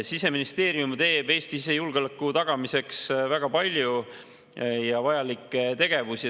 Siseministeerium teeb Eesti sisejulgeoleku tagamiseks väga palju ja vajalikke tegevusi.